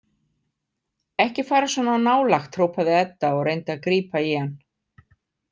Ekki fara svona nálægt, hrópaði Edda og reyndi að grípa í hann.